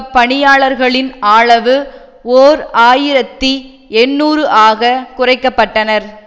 பணியாளர்களின் ஆளவு ஓர் ஆயிரத்தி எண்ணூறுஆக குறைக்கப்பட்டனர்